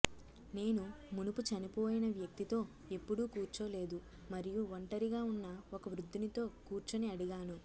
నేను మునుపు చనిపోయిన వ్యక్తితో ఎప్పుడూ కూర్చోలేదు మరియు ఒంటరిగా ఉన్న ఒక వృద్ధునితో కూర్చుని అడిగాను